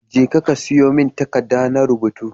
Jeka ka siyomin takadda nayi rubutu